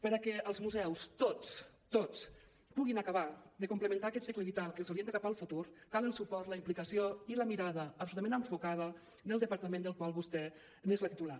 per a què els museus tots tots puguin acabar de complementar aquest cicle vital que els orienta cap al futur cal el suport la implicació i la mirada absolutament enfocada del departament del qual vostè n’és la titular